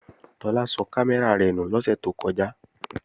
Tọ́lá sọ kámẹ́rà rẹ̀ nù lọ́sẹ̀ tó kọjá